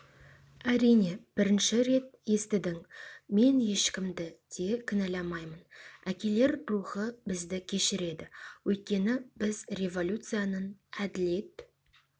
әрине бірінші рет естідің мен ешкімді де кінәламаймын әкелер рухы бізді кешіреді өйткені біз революцияның әділет